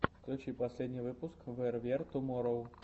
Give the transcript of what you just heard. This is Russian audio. включи последний выпуск вэр вер туморроу